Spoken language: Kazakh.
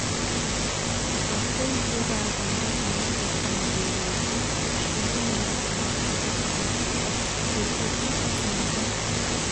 апатты үйдегі адамға жаңа баспана беру үшін үш жарым миллиард теңге қаржы қажет екен жергілікті қазынада